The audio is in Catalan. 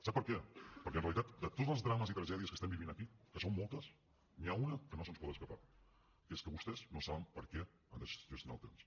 sap per què perquè en realitat de tots els drames i tragèdies que estem vivint aquí que són moltes n’hi ha una que no se’ns pot escapar que és que vostès no saben per què han de gestionar el temps